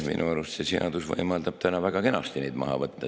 Minu arust see seadus võimaldab väga kenasti neid arvelt maha võtta.